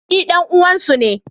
Ni ɗan uwan su ne.